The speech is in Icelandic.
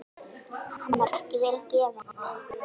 Hann var ekki vel gefinn.